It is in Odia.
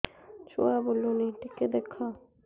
ଛୁଆ ବୁଲୁନି ଟିକେ ଦେଖ